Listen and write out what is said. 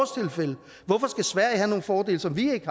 skal sverige have nogle fordele som vi ikke